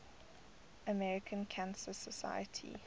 american cancer society